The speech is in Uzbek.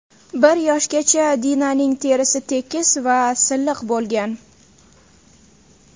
Bir yoshgacha Dinaning terisi tekis va silliq bo‘lgan.